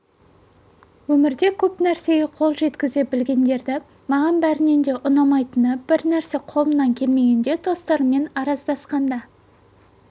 өмірде көп нәрсеге қол жеткізе білетіндерді маған бәрінен де ұнамайтыны бір нәрсе қолымнан келмегенде достарыммен араздасқанда